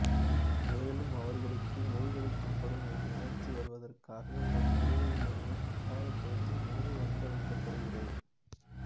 மேலும் அவர்களுக்கு மூழ்கடிக்கப்படும் ஒரு உணர்ச்சி வருவதற்காக ஒரு குடுவையில் இருந்து கட்டாயப்படுத்தி நீரை அருந்த வைக்கப்படுகிறது